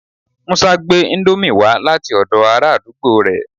Musa gbe Indomie wa lati odo ara àdúgbò re